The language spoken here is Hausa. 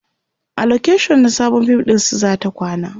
a location na Sabon fim ɗinsu zata kwana